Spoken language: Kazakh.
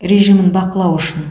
режимін бақылау үшін